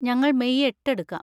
ഞങ്ങൾ മെയ് എട്ട് എടുക്കാം.